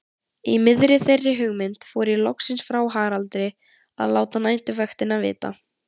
Í miðri þeirri hugmynd fór ég loksins frá Haraldi að láta næturvaktina vita.